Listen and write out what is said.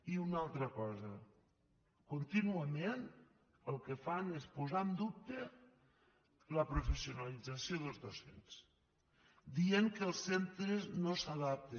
i una altra cosa contínuament el que fan és posar en dubte la professionalització dels docents dient que els centres no s’adapten